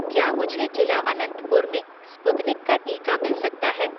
क्या मुझे जिला अनंतपुर में स्पुतनिक का टीका मिल सकता है